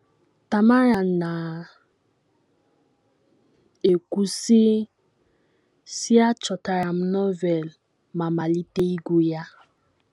Tamara na - ekwu, sị sị: “ Achọtara m Novel ma malite ịgụ ya.